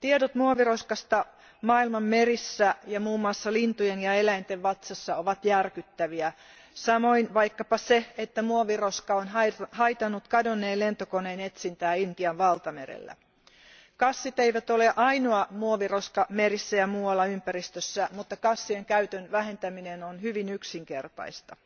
Tiedot muoviroskasta maailman merissä ja muun muassa lintujen ja eläinten vatsassa ovat järkyttäviä, samoin vaikkapa se, että muoviroska on haitannut kadonneen lentokoneen etsintää Intian valtamerellä. Kassit eivät ole ainoa muoviroska merissä ja muualla ympäristössä, mutta kassien käytön vähentäminen on hyvin yksinkertaista.